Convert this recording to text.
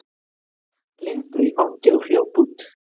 Lindu í fangið og hljóp út.